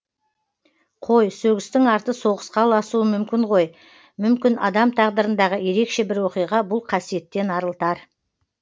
қой сөгістің арты соғысқа ұласуы мүмкін ғой мүмкін адам тағдырындағы ерекше бір оқиға бұл қасиеттен арылтар